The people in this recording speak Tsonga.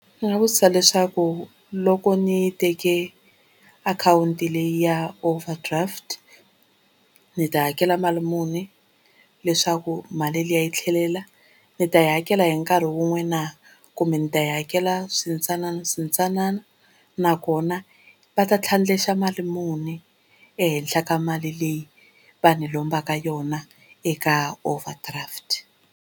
Ndzi nga vutisa leswaku loko ni teke akhawunti leyi ya Overdraft ni ta hakela mali muni leswaku mali liya yi tlhelela. Ni ta yi hakela hi nkarhi wun'we na, kumbe ndzi ta yi hakela swintsananaswintsanana nakona va ta tlhandleka mali muni ehenhla ka mali leyi va ni lombaka yona eka Overdraft.